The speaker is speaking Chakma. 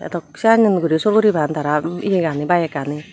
edok senyen guri sorguri pan tara yea gani bike ani.